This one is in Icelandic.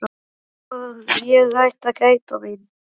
Svo hætti ég að gæta mín.